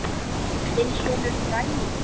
Ég lærði mikið af Erlu.